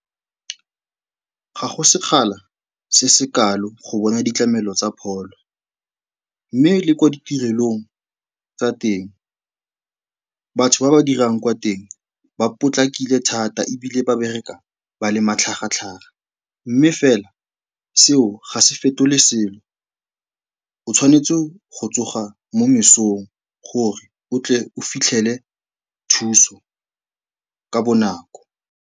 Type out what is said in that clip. Ga go sekgala se se kalo go bona ditlamelo tsa pholo mme le ko ditirelong tsa teng, batho ba ba dirang kwa teng ba potlakile thata ebile ba bereka ba le matlhagatlhaga mme fela, seo, ga se fetole selo. O tshwanetse go tsoga mo mesong gore o tle o fitlhele thuso ka bonako.